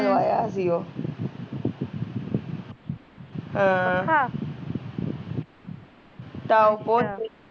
ਲਵਾਇਆ ਉਹ ਹਾਂ